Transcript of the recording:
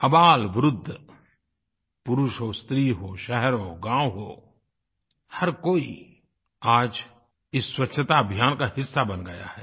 अबालवृद्ध पुरुष हो स्त्री हो शहर हो गाँव हो हर कोई आज इस स्वच्छताअभियान का हिस्सा बन गया है